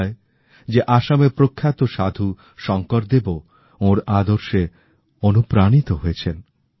বলা হয় যে আসামের প্রখ্যাত সাধু শংকরদেবও ওঁর আদর্শে অনুপ্রাণিত হয়েছেন